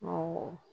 Awɔ